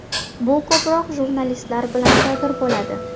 Bu ko‘proq jurnalistlar bilan sodir bo‘ladi.